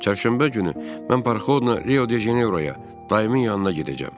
Çərşənbə günü mən parxodla Rio-de-Janeyroya, Daiminin yanına gedəcəm.